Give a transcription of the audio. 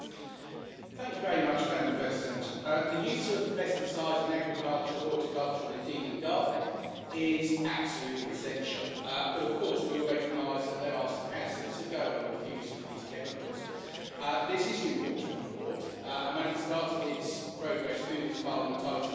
Madam President, the use of pesticides in agriculture, horticulture, and indeed in gardening, is absolutely essential, but of course we all recognise that there are some hazards that go along with the use of these chemicals. This is an important report and when it started its progress through this Parliament I was intending to support it.